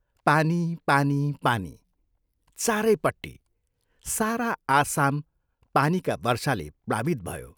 पानी पानी पानी चारैपट्टि, सारा आसाम पानीका वर्षाले प्लावित भयो।